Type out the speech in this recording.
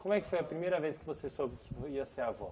Como é que foi a primeira vez que você soube que ia ser avó?